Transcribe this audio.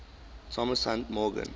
thomas hunt morgan